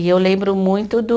E eu lembro muito do